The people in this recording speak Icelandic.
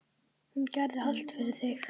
Hún gerði allt fyrir þig.